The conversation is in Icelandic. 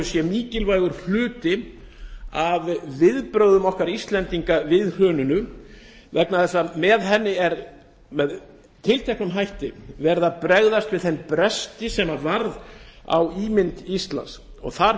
sé mikilvægur hluti af viðbrögðum okkar íslendinga við hruninu vegna þess að með henni er með tilteknum hætti brugðist við þeim bresti sem varð á ímynd íslands þar